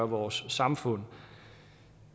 vores samfund